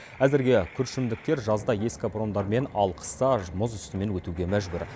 әзірге күршімдіктер жазда ескі паромдармен ал қыста мұз үстімен өтуге мәжбүр